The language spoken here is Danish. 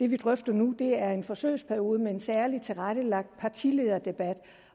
vi drøfter nu er en forsøgsperiode med en særlig tilrettelagt partilederdebat